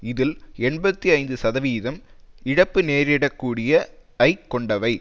இதில் எண்பத்தி ஐந்து சதவிதம் இழப்பு நேரிடக்கூடிய ஐக் கொண்டவை